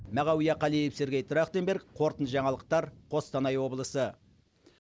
мағауия қалиев сергей трахтенберг қорытынды жаңалықтар қостанай облысы